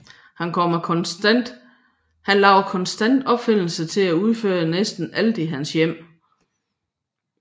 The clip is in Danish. Han laver konstant opfindelser til at udføre næsten alt i hans hjem